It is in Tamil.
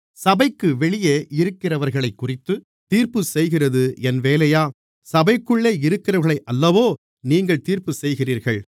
சபைக்கு வெளியே இருக்கிறவர்களைக்குறித்துத் தீர்ப்புச்செய்கிறது என் வேலையா சபைக்குள்ளே இருக்கிறவர்களையல்லவோ நீங்கள் தீர்ப்புச்செய்கிறீர்கள்